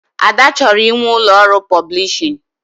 Ada chọrọ inwe ụlọ ọrụ pọblishin